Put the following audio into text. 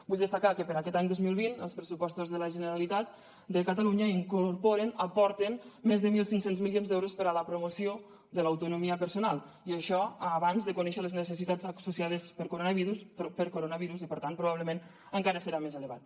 vull destacar que per a aquest any dos mil vint els pressupostos de la generalitat de catalunya incorporen aporten més de mil cinc cents milions d’euros per a la promoció de l’autonomia personal i això abans de conèixer les necessitats associades per coronavirus i per tant probablement encara serà més elevat